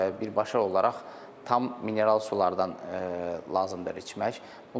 Birbaşa olaraq tam mineral sulardan lazımdır içmək.